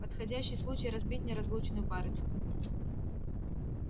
подходящий случай разбить неразлучную парочку